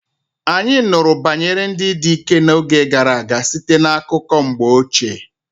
Anyị nụrụ banyere ndị dike n'oge gara aga site na akụkọ mgbe ochie.